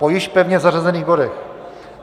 Po již pevně zařazených bodech.